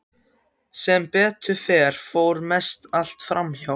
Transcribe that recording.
Sem betur fer fór mest allt fram hjá.